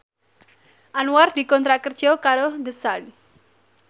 Anwar dikontrak kerja karo The Sun